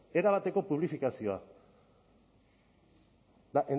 erabateko publifikazioa eta